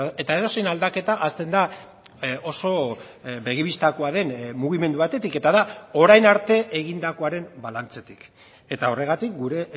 eta edozein aldaketa hasten da oso begi bistakoa den mugimendu batetik eta da orain arte egindakoaren balantzetik eta horregatik gure